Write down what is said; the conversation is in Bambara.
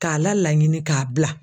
K'a la laɲini k'a bila.